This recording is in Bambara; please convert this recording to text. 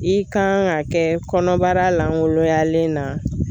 I kan ga kɛ kɔnɔbara langoloyalen na